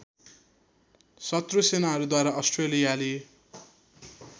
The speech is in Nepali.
शत्रु सेनाहरूद्वारा अस्ट्रेलियाली